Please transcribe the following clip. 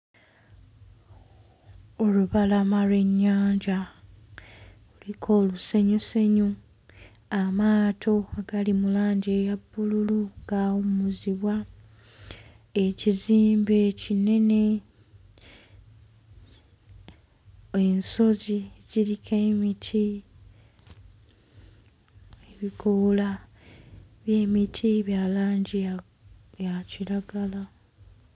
Olubalama lw'ennyanja luliko olusenyusenyu amaato gali mu langi eya bbululu gaawummuzibwa ekizimbe ekinene ensozi ziriko emiti ebikoola by'emiti bya langi ya ya kiragala.